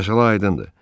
Məsələ aydındır.